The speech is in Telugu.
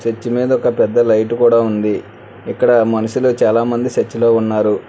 చర్చ్ మీద ఒక పెద్ద లైట్ కూడ ఉంది ఇక్కడ మనుషులు చాలా మంది చర్చిలో ఉన్నారు.